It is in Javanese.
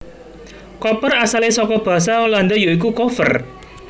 Koper asalé saka basa Landa ya iku koffer